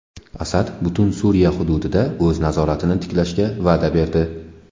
Asad butun Suriya hududida o‘z nazoratini tiklashga va’da berdi.